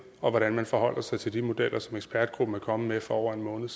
og hvordan man forholder sig til de modeller som ekspertgruppen er kommet med for over en måned